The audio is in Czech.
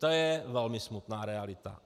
To je velmi smutná realita.